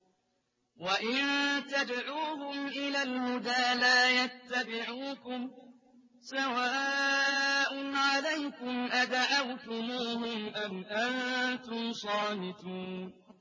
وَإِن تَدْعُوهُمْ إِلَى الْهُدَىٰ لَا يَتَّبِعُوكُمْ ۚ سَوَاءٌ عَلَيْكُمْ أَدَعَوْتُمُوهُمْ أَمْ أَنتُمْ صَامِتُونَ